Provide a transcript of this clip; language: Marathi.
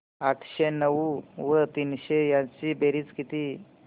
आठशे नऊ व तीनशे यांची बेरीज किती